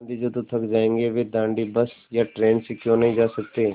गाँधी जी तो थक जायेंगे वे दाँडी बस या ट्रेन से क्यों नहीं जा सकते